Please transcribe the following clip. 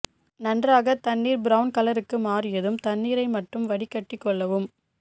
நன்றாக தண்ணீர் ப்ரவுன் கலருக்கு மாறியதும் தண்ணீரை மட்டும் வடிகட்டி கொள்ளவும்